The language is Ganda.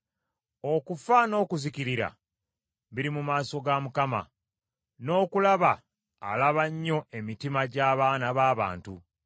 Okufa n’okuzikirira biri mu maaso ga Mukama , n’okulaba alaba nnyo emitima gy’abaana b’abantu!